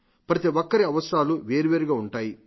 ప్రతిఒక్కరి అవసరాలు వేర్వేరుగా ఉంటాయి